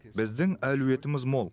біздің әлеуетіміз мол